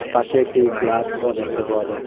পাশে একটি গ্লাসও দেখতে পাওয়া যাচ্ছে।